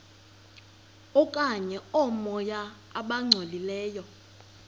okanye oomoya abangcolileyo